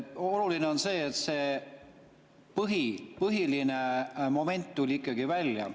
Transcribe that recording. Oluline on see, et see põhiline moment tuli ikkagi välja.